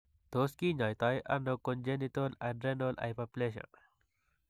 Tos' kiny'aito nano congenital adrenal hyperplasia?